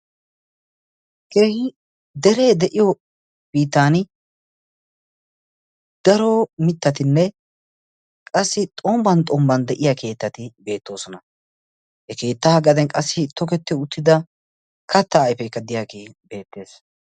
kiri deree de7iyo biitan daro mittatinne qassi xombban xombban de7iya keettati beettoosona he keettaa gaadan qassi toketti uttida kattaa aifeekka diyaagii beettees